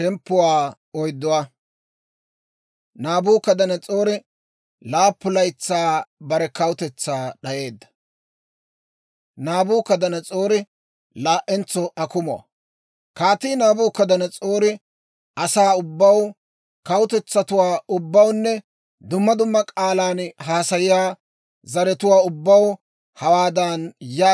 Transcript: Kaatii Naabukadanas'oori asaa ubbaw, kawutetsatuwaa ubbawunne dumma dumma k'aalan haasayiyaa zaratuwaa ubbaw hawaadan yaagi, dabddaabbiyaa kiitteedda. «Saro de'iitee!